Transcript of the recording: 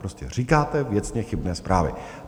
Prostě říkáte věcně chybné zprávy.